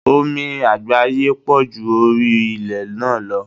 Omi àgbáyé pọ̀ ju orí ilé náà lọ.